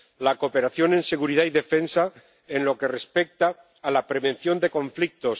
la cooperación en seguridad y defensa en lo que respecta a la prevención de conflictos